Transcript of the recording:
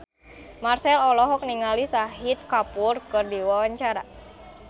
Marchell olohok ningali Shahid Kapoor keur diwawancara